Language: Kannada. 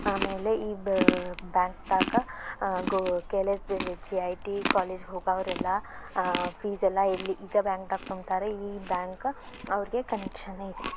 ಆಮೇಲೆ ಈದ್ ಬ್ಯಾಂಕಾ ದಾಗ ಅಹ್ ಗೋ K L S G I T college ಹೋಗುವವರೆಲ್ಲ ಇದೇ ಬ್ಯಾಂಕ ಲ್ಲಿಫೀಸ್ ತುಂಬುತ್ತಾರೆ ಈ ಬ್ಯಾಂಕ್ ಅವರಿಗೆ ಕನೆಕ್ಷನ್ ಐತಿ.